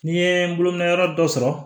N ye n bolonɔyɔrɔ dɔ sɔrɔ